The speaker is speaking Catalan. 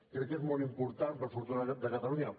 crec que és molt important per al futur de catalunya